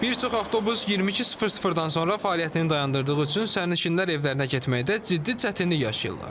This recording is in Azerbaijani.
Bir çox avtobus 22:00-dan sonra fəaliyyətini dayandırdığı üçün sərnişinlər evlərinə getməkdə ciddi çətinlik yaşayırlar.